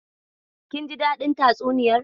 Kin ji dadin tatsuniyar.